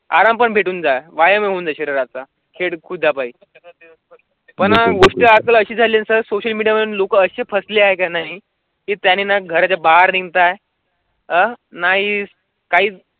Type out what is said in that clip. आरक्षण भेटून जावा यामधून शरीरास ता खेड खुदया पाहिजे अशी झाली आहे. सोशल मीडियावर लोक असे फसली आहे का? नाही ते त्यांना घराच्या बाहेर निघत आहे. नाही काहीच.